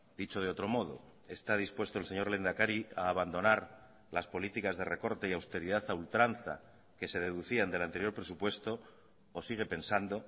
dicho de otro modo está dispuesto el señor lehendakari a abandonar las políticas de recorte y austeridad a ultranza que se deducían del anterior presupuesto o sigue pensando